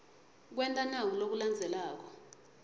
kwenta naku lokulandzelako